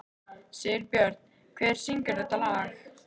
Sigurbjört, hver syngur þetta lag?